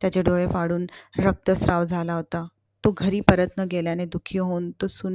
त्याचे डोळे फाडून रक्तस्राव झाला होता. तो घरी परत न गेल्याने दुखी होऊन तो सुन्न